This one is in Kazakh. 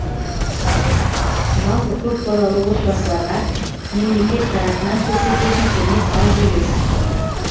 жалпы көпбалалы отбасыларға мемлекет тарапынан көрсетілетін көмек аз емес